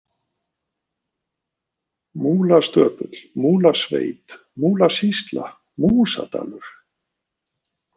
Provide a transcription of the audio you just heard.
Múlastöpull, Múlasveit, Múlasýsla, Músadalur